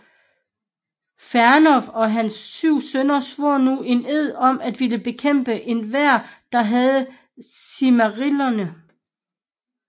Fëanor og hans syv sønner svor nu en ed om at ville bekæmpe enhver der havde Silmarillerne